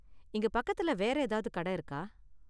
இங்க பக்கத்துல வேற ஏதாவது கடை இருக்கா?